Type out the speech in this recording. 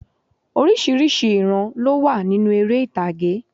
Orísìírísìí ìran ló wà nínú erè ìtàgé